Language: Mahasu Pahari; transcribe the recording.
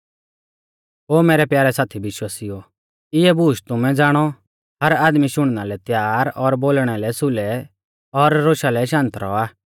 ओ मैरै प्यारै साथी विश्वासिउओ इऐं बूश तुमै ज़ाणौ हर आदमी शुणना लै तैयार और बोलणै लै सुलै और रोशा लै शांत रौआ